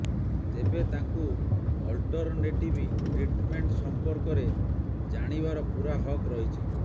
ତେବେ ତାଙ୍କୁ alternative treatment ସଂପର୍କରେ ଜାଣିବାର ପୂରା ହକ୍ ରହିଛି